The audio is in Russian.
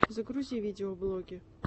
загрузи видеоблоги